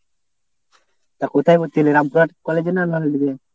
তা কোথায় ভর্তি হলি? রামপুরহাট college এ না